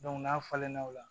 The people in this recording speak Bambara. n'a falenna o la